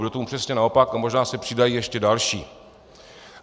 Bude tomu přesně naopak a možná se přidají ještě další.